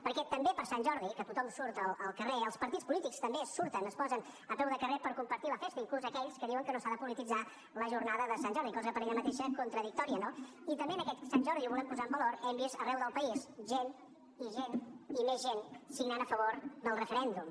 perquè també per sant jordi que tothom surt al carrer els partits polítics també hi surten es posen a peu de carrer per compartir la festa inclús aquells que diuen que no s’ha de polititzar la jornada de sant jordi cosa per ella mateixa contradictòria no i també en aquest sant jordi i ho volem posar en valor hem vist arreu del país gent i gent i més gent signant a favor del referèndum